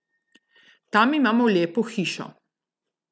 Tam imamo lepo hišo.